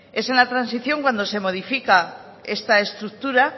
es en la transición cuando se modifica esta estructura